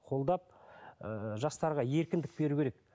қолдап ыыы жастарға еркіндік беру керек